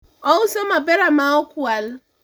ouso mapera ma okwal